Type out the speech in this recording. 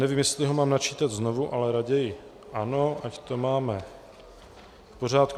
Nevím, jestli ho mám načítat znovu, ale raději ano, ať to máme v pořádku.